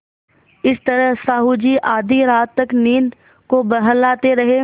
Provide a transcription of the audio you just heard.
इस तरह साहु जी आधी रात तक नींद को बहलाते रहे